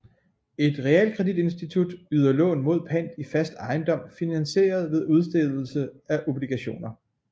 Et realkreditinstitut yder lån mod pant i fast ejendom finansieret ved udstedelse af obligationer